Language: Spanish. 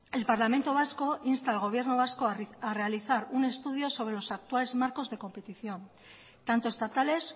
el parlamento vasco insta al gobierno vasco a realizar un estudio sobre los actuales marcos de competición tanto estatales